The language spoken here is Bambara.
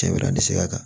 Cɛ bɛna ni sɛbɛya kan